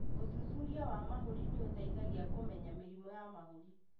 ũthuthuria wa mahũri nĩũteithagia kũmenya mĩrimũ ya mahũri